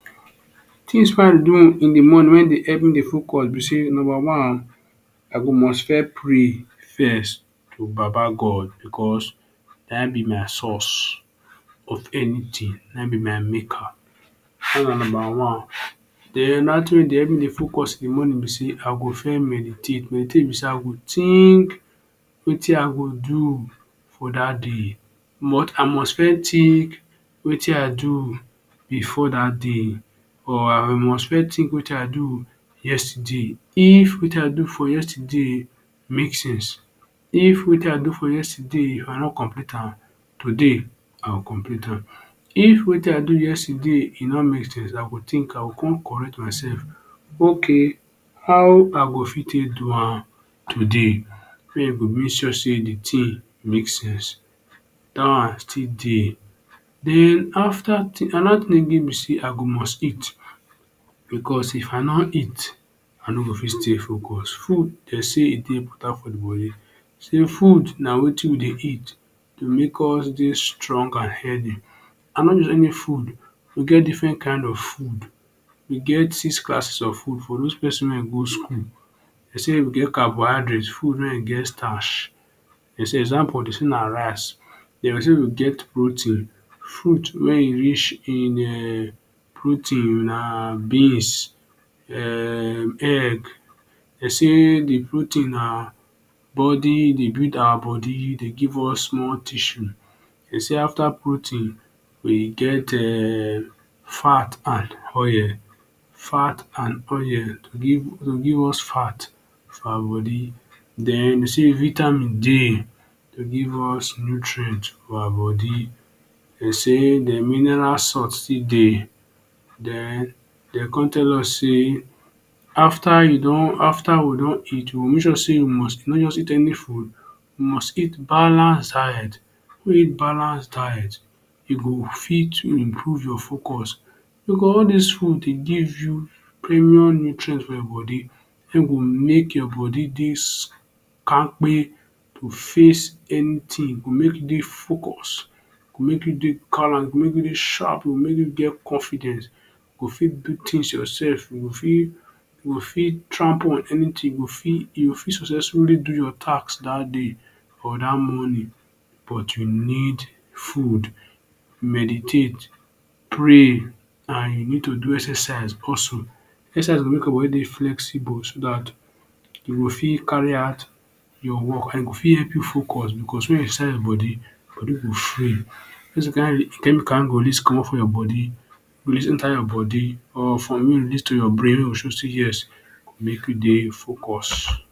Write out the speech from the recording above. Things do in de morning wey dey help me dey focus be sey, number one, I go must first pray first to baba God, because naim be my source of anything. Naim be my maker. Dat na number one. Den, another thing wey dey help me dey focus in de morning be sey, I go first meditate. Meditate be sey I go think wetin I go do for dat day. I must first think wetin I do before that day or I must first think wetin I do yesterday. If wetin I do for yesterday make sense, if wetin I do for yesterday I no complete am, today I go complete am. If wetin I do yesterday e no make sense, I go think I go come correct myself. Okay, how I go fit take do am today wey e go make sure sey de thing make sense? Dat one still dey. Den, after another thing again be sey I go must eat. Because if I no eat, I no go fit stay focus. Food, de sey e dey better for body. Sey food na wetin we dey eat to make us dey strong and healthy. And not just any food, we get different kind of food. We get six classes of food for dose pesin wey go school. De say we get carbohydrate; food wey e get starch. De say example, de say na rice. De say we get protein; food wey e rich in um protein na beans, um egg. De say de protein na body e dey build awa body, e dey give us more tissue. De say after protein, we get um fat and oil. Fat and oil to give to give us fat for awa body. Den, de say vitamin dey. E dey give us nutrient for awa body. De say den mineral salt still dey. Den, de come tell us say after you don after we don eat, we go make sure sey we must not just eat any food, we must eat balance diet, eat balance diet. E go fit improve your focus because all dis food dey give you premium nutrient for your body wey go make your body dey kampke to face anything. Go make you dey focus, go make you dey gallant, go make you dey sharp, go make you get confidence, go fit do things yourself, go fit go fit trample on anything. Go fit you go fit successfully do your tasks that day or dat morning. But you need food, meditate, pray and you need to do exercise also. Exercise go make your body dey flexible so dat you go fit carry out your work, and e go fit help you focus because wen you exercise your body, body go free. E get some kind chemical wey go release comot for your body, release enter your body or from you release to your brain wey go show sey ‘yes’, e go make you dey focus.